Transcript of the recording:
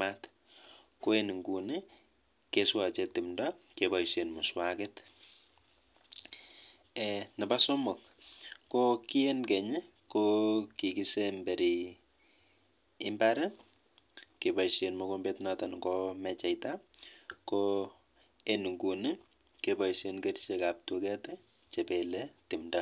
mat ak any Nguni keboishe kerichek kebelei tumdo